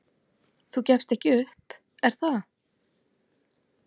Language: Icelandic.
"""Þú gefst ekki upp, er það?"""